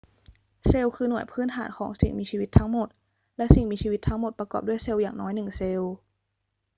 เซลล์คือหน่วยพื้นฐานของสิ่งมีชีวิตทั้งหมด และสิ่งมีชีวิตทั้งหมดประกอบด้วยเซลล์อย่างน้อยหนึ่งเซลล์